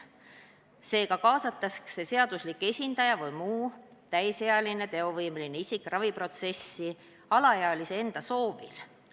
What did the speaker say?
Seega kaasatakse seaduslik esindaja või muu täisealine teovõimeline isik raviprotsessi alaealise enda soovil.